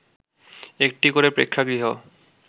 একটি করে প্রেক্ষাগৃহ